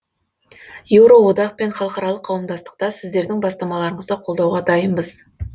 еуроодақ пен халықаралық қауымдастықта сіздердің бастамаларыңызды қолдауға дайынбыз